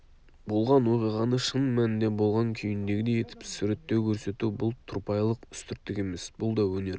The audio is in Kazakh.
болған оқиғаны шын мәнінде болған күйіндегідей етіп суреттеу көрсету бұл тұрпайылық үстірттік емес бұл да өнер